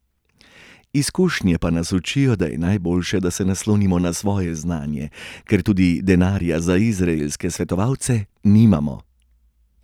Izkušnje pa nas učijo, da je najboljše, da se naslonimo na svoje znanje, ker tudi denarja za izraelske svetovalce nimamo.